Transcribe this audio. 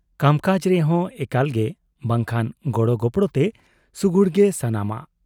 ᱠᱟᱢᱠᱟᱡᱽ ᱨᱮᱦᱚ ᱮᱠᱟᱞ ᱜᱮ ᱵᱟᱝᱠᱷᱟᱱ ᱜᱚᱲᱚ ᱜᱚᱯᱚᱲᱚᱛᱮ ᱥᱩᱜᱩᱲ ᱜᱮ ᱥᱟᱱᱟᱢᱟᱜ ᱾